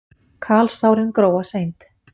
Kalsárin gróa seint.